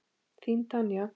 Þín Tanya.